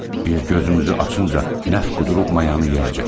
Biz gözümüzü açınca nəf qudurub mayanı yeyəcək.